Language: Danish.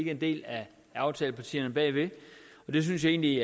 er en del af aftalepartierne bagved jeg synes egentlig